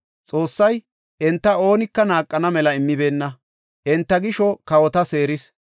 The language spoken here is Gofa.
Xoossay enta oonika naaqana mela immibeenna; enta gisho kawota seeris.